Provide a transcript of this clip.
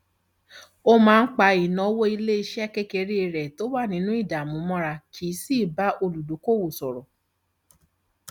ó máa ń pa ìnáwó ilé iṣẹ kékeré rẹ tó wà nínú ìdààmú mọra kì í sì bá olùdókòwò sọrọ